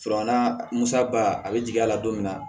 musa ba a bɛ jigin a la don min na